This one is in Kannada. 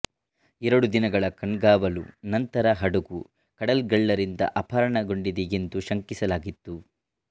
ಎರಡು ದಿನಗಳ ಕಣ್ಗಾವಲು ನಂತರ ಹಡಗು ಕಡಲ್ಗಳ್ಳರಿಂದ ಅಪಹರಣಗೊಂಡಿದೆ ಎಂದು ಶಂಕಿಸಲಾಗಿತ್ತು